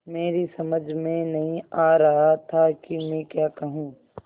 मेरी समझ में नहीं आ रहा था कि मैं क्या कहूँ